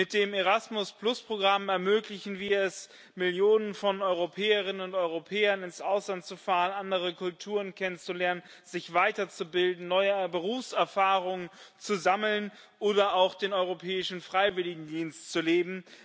Mit dem Erasmus Programm ermöglichen wir es Millionen von Europäerinnen und Europäern, ins Ausland zu fahren, andere Kulturen kennenzulernen, sich weiterzubilden, neue Berufserfahrung zu sammeln oder auch den Europäischen Freiwilligendienst zu leben.